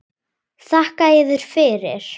Þakka yður fyrir.